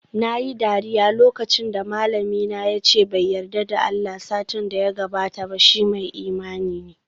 Nayi dariya lokacin da malamina yace bai yarda da Allah satin da ya gabata ba, shi mai imani ne